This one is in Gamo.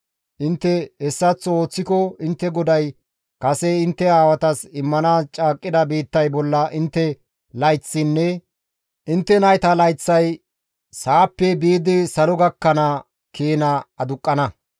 Intte hessaththo ooththiko intte GODAY kase intte aawatas immanaas caaqqida biittay bolla intte layththaynne intte nayta layththay sa7appe biidi salo gakkana keena aduqqana.